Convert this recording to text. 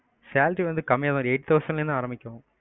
salary வந்து கம்மியா தான் வரும் eight thousand ல இருந்து ஆரம்பிக்கும்.